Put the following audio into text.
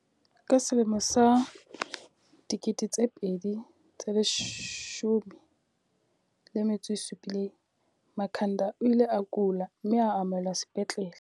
Ka selemo sa 2017, Makhanda o ile a kula, mme a amohelwa sepetlele.